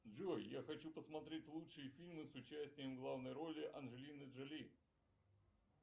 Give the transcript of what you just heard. джой я хочу посмотреть лучшие фильмы с участием в главной роли анджелины джоли